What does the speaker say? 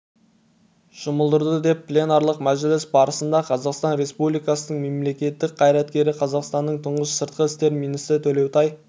жұмылдырды деп пленарлық мәжіліс барысында қазақстан республикасының мемлекеттік қайраткері қазақстанның тұңғыш сыртқы істер министрі төлеутай